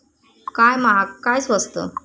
काय महाग, काय स्वस्त?